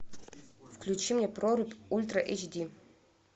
включи мне прорубь ультра эйч ди